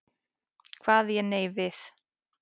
Kvað ég nei við.